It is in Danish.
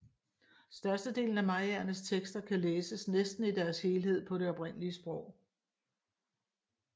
Størstedelen af mayaernes tekster kan læses næsten i deres helhed på det oprindelige sprog